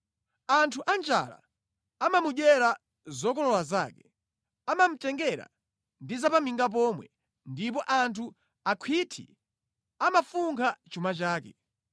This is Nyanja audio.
Anthu anjala amamudyera zokolola zake, amamutengera ndi za pa minga pomwe, ndipo anthu akhwinthi amafunkha chuma chake.